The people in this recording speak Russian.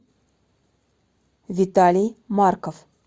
виталий марков